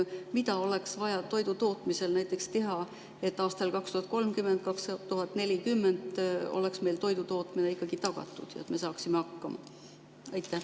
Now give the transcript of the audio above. Mida oleks vaja näiteks toidutootmisel teha, et aastal 2030 või 2040 oleks meil toidutootmine ikkagi tagatud ja me saaksime hakkama?